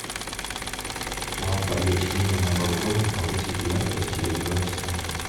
лампа для чтения на балконе повысить яркость через два часа